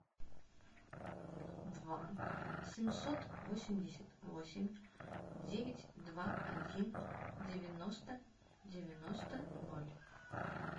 два семьсот восемьдесят восемь девять два один девяносто девяносто ноль